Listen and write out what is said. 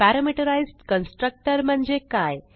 parameterised constructor म्हणजे काय